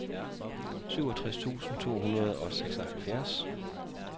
syvogtres tusind to hundrede og seksoghalvfjerds